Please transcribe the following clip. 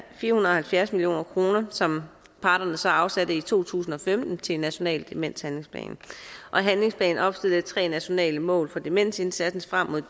fire hundrede og halvfjerds million kr som parterne så afsatte i to tusind og femten til en national demenshandlingsplan handlingsplanen opstiller tre nationale mål for demensindsatsen frem mod